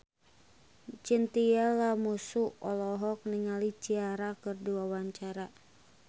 Chintya Lamusu olohok ningali Ciara keur diwawancara